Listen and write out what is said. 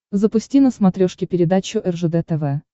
запусти на смотрешке передачу ржд тв